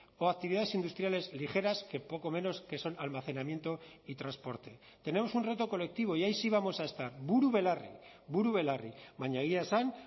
o actividades industriales ligeras que poco menos que son almacenamiento y transporte tenemos un reto colectivo y ahí sí vamos a estar buru belarri buru belarri baina egia esan